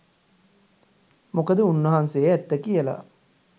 මොකද උන්වහන්සේ ඇත්ත කියලා